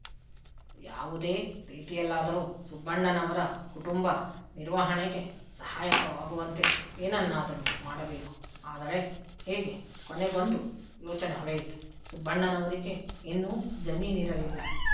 ಯಾವುದೇ ರೀತಿಯಲ್ಲಾದರೂ ಸುಬ್ಬಣ್ಣನವರ ಕುಟುಂಬ ನಿರ್ವಹಣೆಗೆ ಸಹಾಯಕವಾಗುವಂತೆ ಏನನ್ನಾದರೂ ಮಾಡಬೇಕು ಆದರೆ ಹೇಗೆ ಕೊನೆಗೊಂದು ಯೋಚನೆ ಹೊಳೆಯಿತು ಸುಬ್ಬಣ್ಣನವರಿಗೆ ಇನ್ನೂ ಜಮೀನಿರಲಿಲ್ಲ